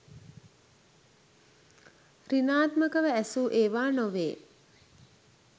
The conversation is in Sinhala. සෘණාත්මකව ඇසූ ඒවා නොවේ